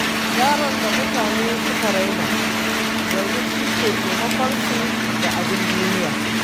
Yaron da mutane suka raina yanzu shine ke taimakon su da abin duniya.